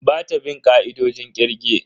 Bata bin ka'idojin kirge.